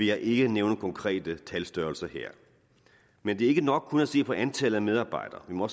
jeg ikke nævne konkrete talstørrelser her men det er ikke nok kun at se på antallet af medarbejdere vi må